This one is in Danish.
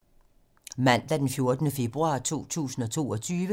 Mandag d. 14. februar 2022